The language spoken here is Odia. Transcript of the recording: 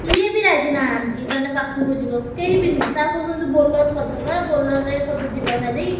କିଏ ବି ରାଜି ନାହାଁନ୍ତି ମାନେ ପାଖକୁ ଯିବାକୁ କେହିବି ନୁହଁ sir କହୁଛନ୍ତି Bolero କରିଦବା Bolero ରେ ସବୁ ଯିବା ଭାରି।